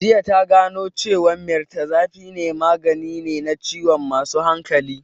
Jiya ta gano cewan mirtazapine magani ne na masu ciwon hankali